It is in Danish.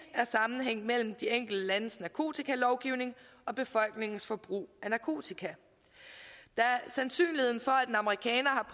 er sammenhæng mellem de enkelte landes narkotikalovgivning og befolkningens forbrug af narkotika sandsynligheden for at en amerikaner